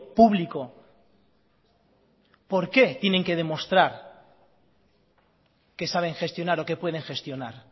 público por qué tienen que demostrar que saben gestionar o que pueden gestionar